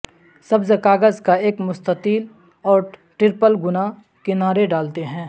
سبز کاغذ کا ایک مستطیل اور ٹرپل گنا کنارے ڈالتے ہیں